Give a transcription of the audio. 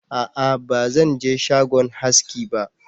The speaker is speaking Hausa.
a'a ba Zan je shagon haski ba